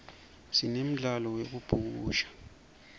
sinemdzalo yekubhukusha